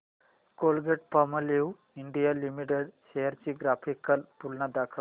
Colgate Palmolive India Limited shares ची graphical तुलना दाखव